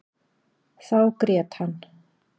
Þá grét hann.